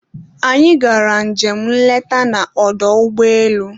Anyị gara njem nleta na ọdọ ụgbọelu